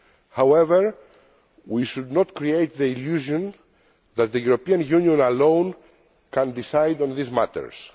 However, we should not create the illusion that the European Union alone can decide on these matters.